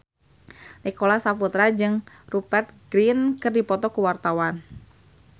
Nicholas Saputra jeung Rupert Grin keur dipoto ku wartawan